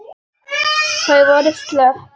Þau voru slöpp.